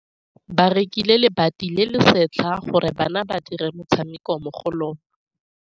Ba rekile lebati le le setlha gore bana ba dire motshameko mo go lona.